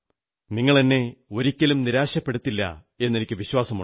നിങ്ങളെന്നെ ഒരിക്കലും നിരാശപ്പെടുത്തില്ലെന്ന് എനിക്കു വിശ്വാസമുണ്ട്